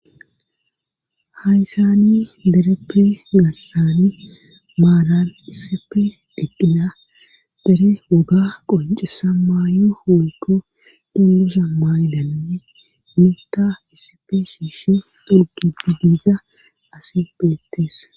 hayssani dereppe gassani maalan iisepe deqqina dere woga qoncesa maayo woykko dulusha maaylanne mita isife shiishi durgidi diiza ase beettees